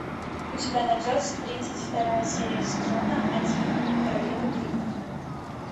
у тебя найдется тридцать вторая серия сезона один королева крика